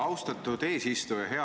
Austatud eesistuja!